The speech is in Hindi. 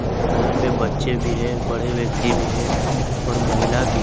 और यहां पे बच्चे भी हैं बड़े व्यक्ति भी हैं और महिला भी है।